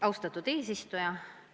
Austatud eesistuja!